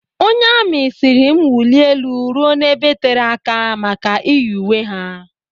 Onye amị sịrị m wulie elu ruo n'ebe tere aka maka iyi uwe ha.